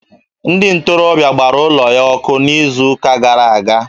Ndị ntorobịa gbara ụlọ ya ọkụ n'izuụka gara aga